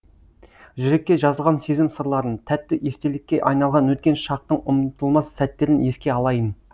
жүрекке жазылған сезім сырларын тәтті естелікке айналған өткен шақтың ұмытылмас сәттерін еске алайын